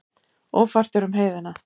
Ófært er um heiðina.